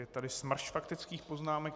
Je tady smršť faktických poznámek.